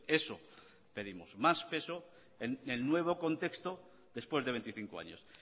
eso pedimos más peso en el nuevo contexto después de veinticinco años